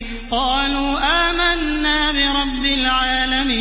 قَالُوا آمَنَّا بِرَبِّ الْعَالَمِينَ